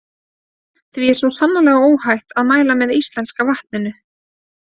Því er svo sannarlega óhætt að mæla með íslenska vatninu.